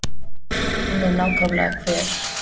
Og hún er nákvæmlega hver?